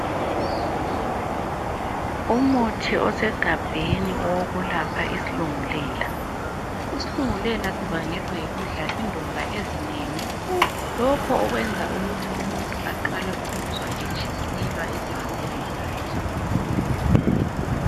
Umuthi osegabheni owokulapha isilungulela. Isilungulela sibangelwa yikudla indumba ezinengi lokho kwenza ukuthi umuntu aqale ukuzwa etshiselwa esifubeni sakhe.